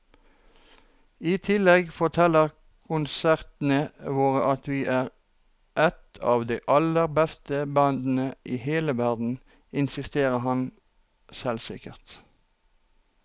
I tillegg forteller konsertene våre at vi er et av de aller beste bandene i hele verden, insisterer han selvsikkert.